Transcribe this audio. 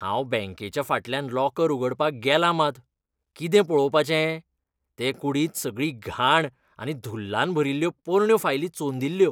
हांव बॅंकेच्या फाटल्यान लॉकर उगडपाक गेलां मात, कितें पळोवपाचें?ते कुडींत सगळी घाण आनी धुल्लान भरिल्ल्यो पोरण्यो फायली चोंदिल्ल्यो.